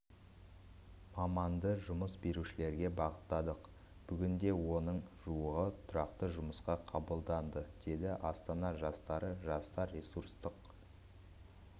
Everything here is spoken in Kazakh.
маманды жұмыс берушілерге бағыттадық бүгінде оның жуығы тұрақты жұмысқа қабылданды деді астана жастары жастар ресурстық